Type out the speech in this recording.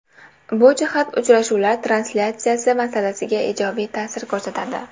Bu jihat uchrashuvlar translyatsiyasi masalasiga ijobiy ta’sir ko‘rsatadi.